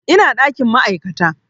Ina ɗakin ma'aikata